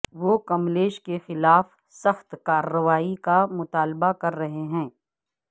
وہ کملیش کے خلاف سخت کارروائی کا مطالبہ کر رہے ہیں